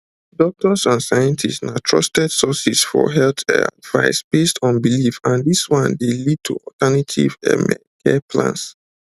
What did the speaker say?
doctors and scientists na trusted sources for health um advice based on belief and dis one dey lead to alternative um um care plans